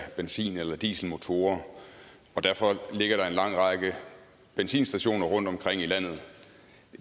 af benzin eller dieselmotorer og derfor ligger der en lang række benzinstationer rundtomkring i landet